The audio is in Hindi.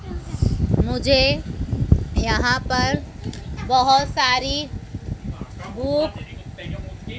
मुझे यहां पर बहोत सारी बुक --